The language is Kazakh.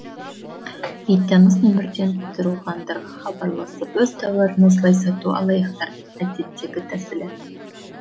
бейтаныс нөмірден тұрғындарға хабарласып өз тауарын осылай сату алаяқтардың әдеттегі тәсілі